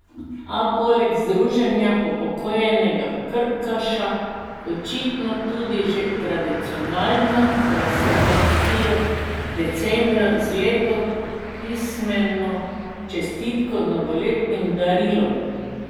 A poleg druženja upokojenega krkaša, očitno tudi že tradicionalno, presenetijo decembra z lepo pismeno čestitko, novoletnim darilom.